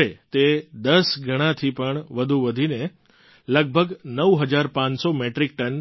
હવે તે ૧૦ ગણાથી પણ વધુ વધીને લગભગ ૯૫૦૦ મેટ્રિક ટન